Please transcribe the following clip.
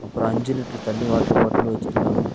அப்ரோ அஞ்சு லிட்டர் தண்ணி வாட்டர் பாட்டில் வச்சுருக்காங்க.